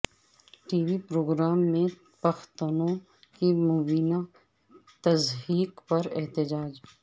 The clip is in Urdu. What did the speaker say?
ٹی وی پروگرام میں پختونوں کی مبینہ تضحیک پر احتجاج